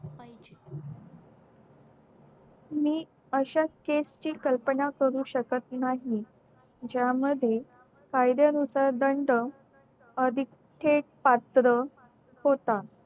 मी अश्या case ची कल्पना करू शकत नाही ज्या मध्ये कायदया नुसार दंड अधिक एक पात्र होता